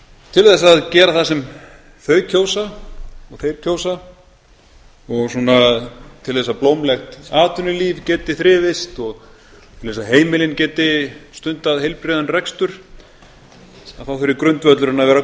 til þess að gera það sem þau kjósa og þeir kjósa og svona til þess að blómlegt atvinnulíf geti þrifist og til þess að heimilin geti stundað heilbrigðan rekstur að þá þurfi grundvöllurinn